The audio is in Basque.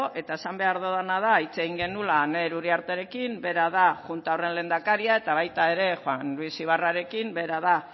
eta esan behar dudana da hitz egin genuela aner uriartearekin bera da junta horren lehendakaria eta baita ere juan luis ibarrarekin bera da